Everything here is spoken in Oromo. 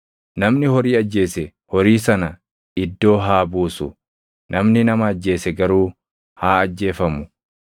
Namni horii ajjeese horii sana iddoo haa buusu; namni nama ajjeese garuu haa ajjeefamu.